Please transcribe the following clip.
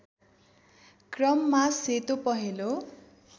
क्रममा सेतो पहेँलो